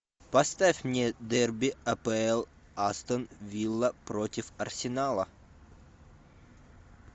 поставь мне дерби апл астон вилла против арсенала